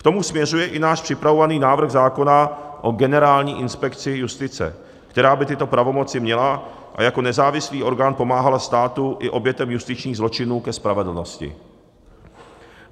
K tomu směřuje i náš připravovaný návrh zákona o Generální inspekci justice, která by tyto pravomoci měla a jako nezávislý orgán pomáhala státu i obětem justičních zločinů ke spravedlnosti.